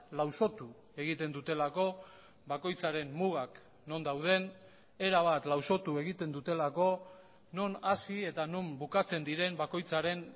lausotu egiten dutelako bakoitzaren mugak non dauden erabat lausotu egiten dutelako non hasi eta non bukatzen diren bakoitzaren